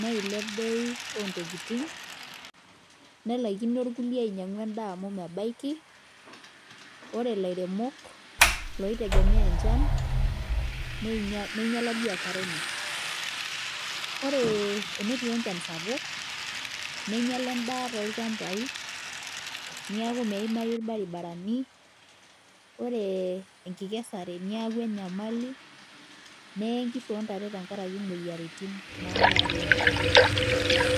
neilep bei ontokiting nelaikino irkulie ainyiang'u endaa amu mebaiki ore ilairemok loitegemea enchan neinyiala biashara enye ore enetii enchan sapuk neinyiala endaa tolchambai niaku meimayu irbaribarani ore enkikesare niaku enyamali neye nkishu ontare tenkarake imoyiaritin nayau enchan sapuk.